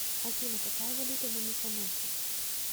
афина какая валюта на миконосе